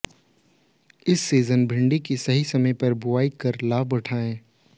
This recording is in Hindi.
इस सीजन भिण्डी की सही समय पर बुवाई कर लाभ उठाएं